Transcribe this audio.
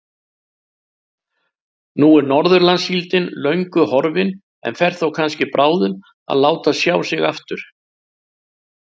Nú er Norðurlandssíldin löngu horfin en fer þó kannski bráðum að láta sjá sig aftur.